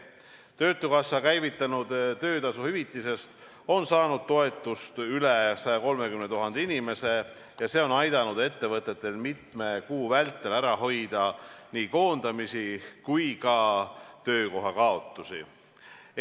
Töötukassa käivitatud töötasu hüvitisest on saanud toetust üle 130 000 inimese ja see on aidanud ettevõtetel mitme kuu vältel ära hoida nii koondamisi kui ka töökohakaotusi.